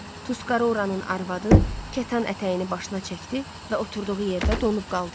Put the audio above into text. Tusqarıranın arvadı kətan ətəyini başına çəkdi və oturduğu yerdə donub qaldı.